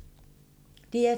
DR2